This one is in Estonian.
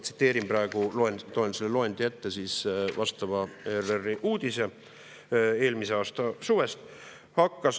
Ma loen ette selle loendi vastavast ERR-i uudisest eelmise aasta suvest.